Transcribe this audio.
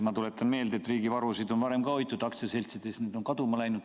Ma tuletan meelde, et riigivarusid on varem ka hoitud ja aktsiaseltsides need on kaduma läinud.